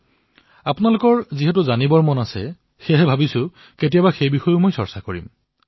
বাকী আপোনালোকৰ যি জিজ্ঞাসা আছে ভাবিছো কেতিয়াবা সেই বিষয়েও আলোচনা কৰিম